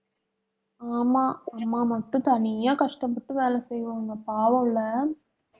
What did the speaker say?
ஆமா. அம்மா மட்டும் தனியா கஷ்டப்பட்டு வேலை செய்வாங்க பாவம்ல